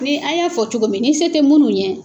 Ni an y'a fɔ cogomin se tɛ mun ɲɛ